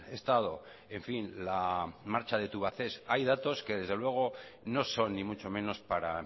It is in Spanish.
estado en fin la marcha de tubacex hay datos que desde luego no son ni mucho menos para